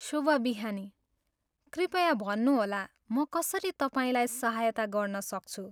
शुभ बिहानी, कृपया भन्नुहोला, म कसरी तपाईँलाई सहायता गर्न सक्छु?